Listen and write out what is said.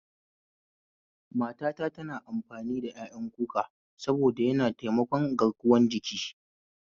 Matata tana amfani ƴaƴan kuka saboda yana taimakon garkuwan jiki